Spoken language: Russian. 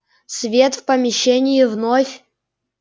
свет в помещении вновь